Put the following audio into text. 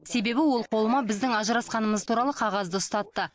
себебі ол қолыма біздің ажырасқанымыз туралы қағазды ұстатты